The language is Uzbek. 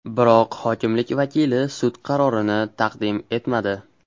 Biroq hokimlik vakili sud qarorini taqdim etmadi.